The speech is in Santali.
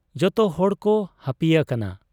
ᱡᱚᱛᱚ ᱦᱚᱲ ᱠᱚ ᱦᱟᱹᱯᱤᱭᱟᱠᱟᱱᱟ ᱾